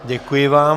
Děkuji vám.